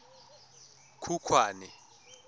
khukhwane